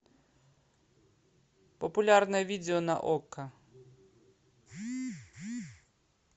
популярное видео на окко